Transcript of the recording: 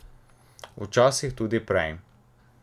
Včasih tudi prej.